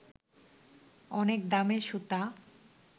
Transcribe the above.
অনেক দামের সুতা